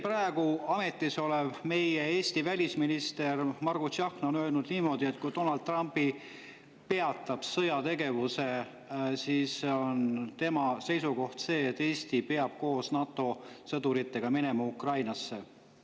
Praegu veel ametis olev Eesti välisminister Margus Tsahkna on öelnud niimoodi, et tema seisukoht on see, et kui Donald Trump peatab sõjategevuse, siis peab Eesti koos NATO sõduritega minema Ukrainasse.